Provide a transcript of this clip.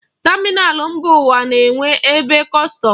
Tamịnal mba ụwa na-enwe ebe kọstọm.